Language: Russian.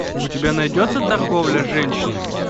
у тебя найдется торговля женщинами